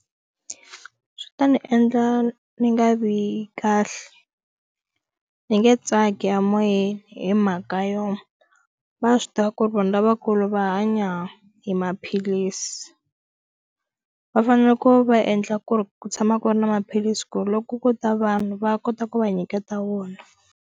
Swi ta ni endla ni nga vi kahle ni nge tsaki a moyeni hi mhaka yo va swi tiva ku ri vona lavakulu ri va hanya hi maphilisi va fanele ku va endla ku ri ku tshama ku ri na maphilisi ku ri loko ko ta vanhu va kota ku va nyiketa wona.